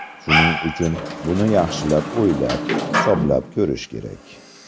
Shuning uchun, buni yaxshilab o‘ylab, hisoblab ko‘rish kerak.